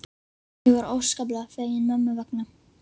Ég var óskaplega fegin mömmu vegna.